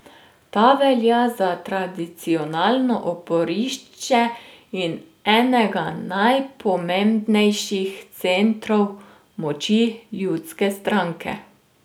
Ta velja za tradicionalno oporišče in enega najpomembnejših centrov moči ljudske stranke.